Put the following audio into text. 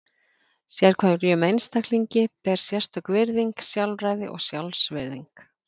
Sérhverjum einstaklingi ber sérstök virðing, sjálfræði og sjálfsvirðing.